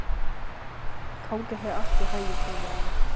Gangi þér allt í haginn, Þórelfa.